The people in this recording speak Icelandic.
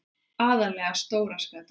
Aðallega stóra skatan.